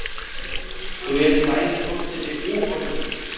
Þú yrðir bæði forseti og borgarstjóri?